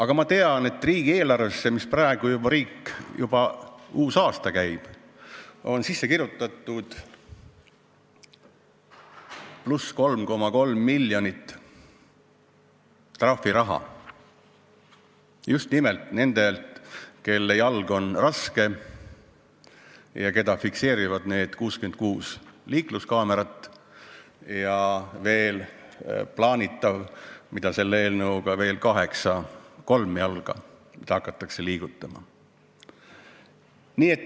Kuid ma tean, et riigieelarvesse – praegu juba uus aasta käib – on sisse kirjutatud pluss 3,3 miljonit trahviraha just nimelt nendelt, kelle jalg on raske ja kelle tegevuse fikseerivad need 66 liikluskaamerat ja selle eelnõuga plaanitavad kaheksa kolmjalga, mida hakatakse liigutama.